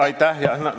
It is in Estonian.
Aitäh!